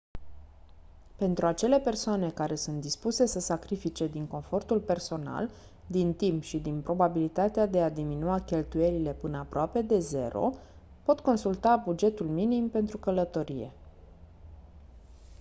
pentru acele persoane care sunt dispuse să sacrifice din confortul personal din timp și din probabilitatea de a diminua cheltuielile până aproape de 0 pot consulta bugetul minim pentru călătorie